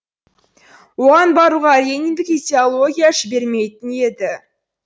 оған баруға лениндік идеология жібермейтін еді